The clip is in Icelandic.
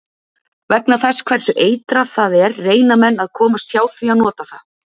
Vegna þess hversu eitrað það er reyna menn að komast hjá því að nota það.